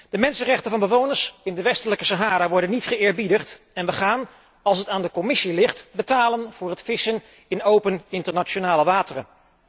De mensenrechten van bewoners in de Westelijke Sahara worden niet geëerbiedigd en we gaan, als het aan de Commissie ligt, betalen voor het vissen in open internationale wateren.